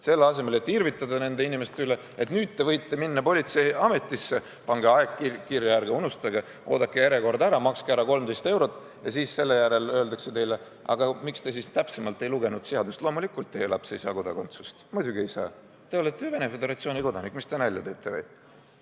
Selle asemel et irvitada nende inimeste üle, et nüüd te võite minna politseiametisse, pange aeg kirja, ärge unustage, oodake järjekord ära, makske ära 13 eurot ja siis öeldakse teile: aga miks te siis täpsemalt ei lugenud seadust, loomulikult teie laps ei saa kodakondsust, muidugi ei saa, te olete ju Venemaa Föderatsiooni kodanik, mis te nalja teete või?